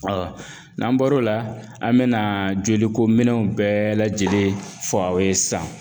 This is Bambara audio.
n'an bɔr'o la an bɛ na jolikominɛnw bɛɛ lajɛlen fɔ aw ye sisan